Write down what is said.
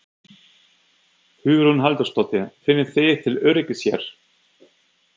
Hugrún Halldórsdóttir: Finnið þið til öryggis hér?